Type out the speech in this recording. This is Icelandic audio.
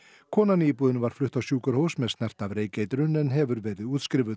konan í íbúðinni var flutt á sjúkrahús með snert af reykeitrun en hefur verið útskrifuð